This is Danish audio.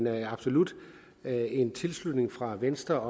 er absolut en tilslutning fra venstre